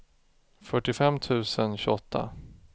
fyrtiofem tusen tjugoåtta